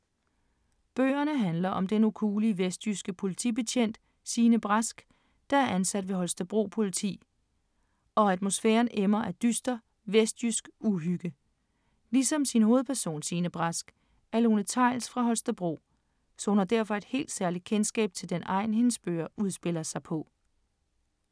Bøgerne handler om den ukuelige, vestjyske politibetjent Signe Brask, der er ansat ved Holstebro Politi, og atmosfæren emmer af dyster, vestjysk uhygge. Ligesom sin hovedperson, Signe Brask, er Lone Theils fra Holstebro, så hun har derfor et helt særligt kendskab til den egn, hendes bøger udspiller sig på.